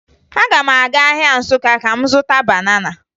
Aga m aga ahịa Nsụka ka m zụta banana